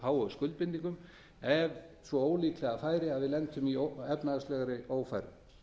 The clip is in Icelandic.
gríðarlega háu skuldbindingum ef svo ólíklega færi að við lentum í efnahagslegri ófæru